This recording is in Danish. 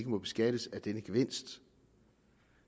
må beskattes af denne gevinst